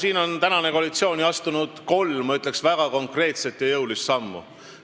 Siin on praegune koalitsioon astunud ju kolm väga konkreetset ja jõulist sammu.